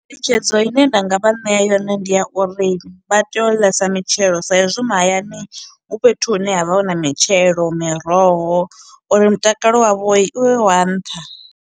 Ngeletshedzo ine nda nga vha ṋea yone ndi ya uri vha tea u ḽesa mitshelo sa izwi mahayani hu fhethu hune havha hu na mitshelo, miroho uri mutakalo wavhoi uvhe wa nṱha.